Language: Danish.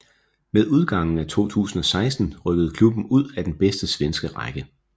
Med udgangen af 2016 rykkede klubben ud af den bedste svenske række